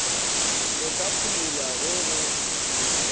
le ka phumulwa ge go